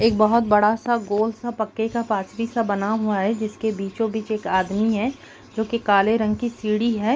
एक बहोत बड़ा सा गोल सा पक्के का पार्थिव सा बना हुआ है जिसके बीचों-बीच एक आदमी है जो कि काले रंग की सीढ़ी है।